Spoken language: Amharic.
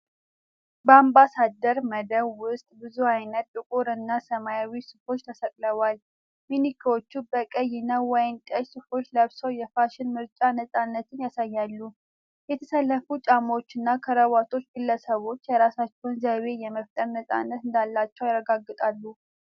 በአምባሳደር መደብር ውስጥ ብዙ አይነት ጥቁር እና ሰማያዊ ሱፎች ተሰቅለዋል። ማኒኪኖች በቀይ እና ወይን ጠጅ ሱፎች ለብሰው የፋሽን ምርጫ ነፃነትን ያሳያሉ። የተሰለፉ ጫማዎችና ክራባቶች ግለሰቦች የራሳቸውን ዘይቤ የመፍጠር ነፃነት እንዳላቸው ያረጋግጣሉ።